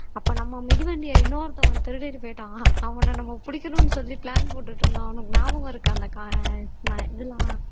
அப்ப நம்ம மிதிவண்டியை இன்னொருத்தன் வந்து திருடிட்டு போயிட்டான் அவன நம்ம பிடிக்கணும்னு சொல்லி plan போட்டுட்டு இருந்தோம் உனக்கு ஞாபகம் இருக்கா அந்த க இதெல்லாம்